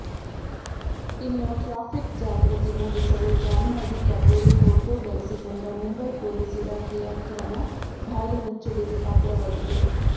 ಇನ್ನು ಟ್ರಾಫಿಕ್ ಜಾಗೃತಿ ಮೂಡಿಸಲು ಜಾನ್ಹವಿ ಕಪೂರ್ ಫೋಟೋ ಬಳಸಿಕೊಂಡ ಮುಂಬೈ ಪೊಲೀಸ್ ಇಲಾಖೆಯ ಕ್ರಮ ಭಾರೀ ಮೆಚ್ಚುಗೆಗೆ ಪಾತ್ರವಾಗಿದೆ